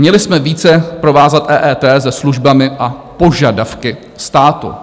Měli jsme více provázat EET se službami a požadavky státu.